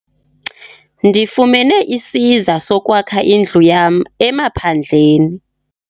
Ndifumene isiza sokwakha indlu yam emaphandleni.